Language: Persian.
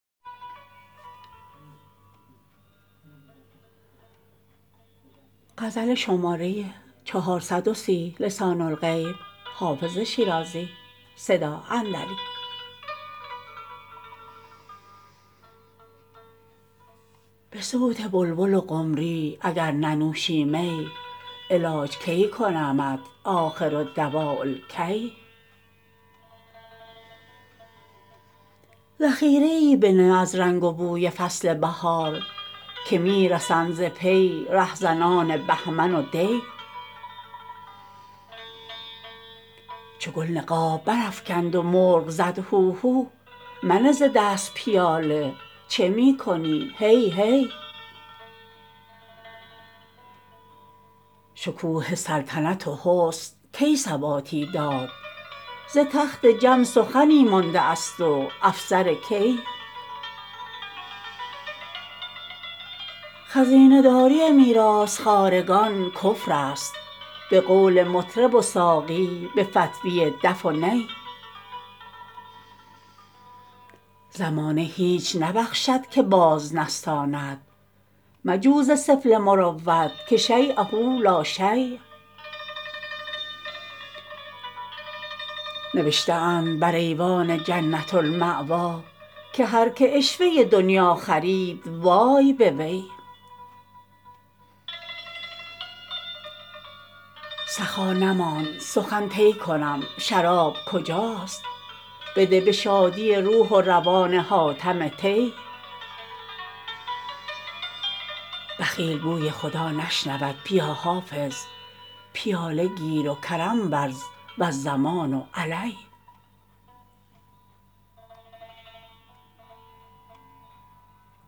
به صوت بلبل و قمری اگر ننوشی می علاج کی کنمت آخرالدواء الکی ذخیره ای بنه از رنگ و بوی فصل بهار که می رسند ز پی رهزنان بهمن و دی چو گل نقاب برافکند و مرغ زد هوهو منه ز دست پیاله چه می کنی هی هی شکوه سلطنت و حسن کی ثباتی داد ز تخت جم سخنی مانده است و افسر کی خزینه داری میراث خوارگان کفر است به قول مطرب و ساقی به فتویٰ دف و نی زمانه هیچ نبخشد که باز نستاند مجو ز سفله مروت که شییه لا شی نوشته اند بر ایوان جنة الماویٰ که هر که عشوه دنییٰ خرید وای به وی سخا نماند سخن طی کنم شراب کجاست بده به شادی روح و روان حاتم طی بخیل بوی خدا نشنود بیا حافظ پیاله گیر و کرم ورز و الضمان علی